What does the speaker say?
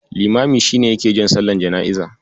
Limami shi ne yake jan sallar jana'iza.